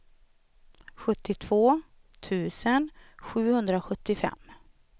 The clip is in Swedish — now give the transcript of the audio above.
sjuttiotvå tusen sjuhundrasjuttiofem